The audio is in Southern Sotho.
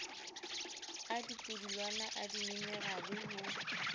a dipudulwana a dimenerale ho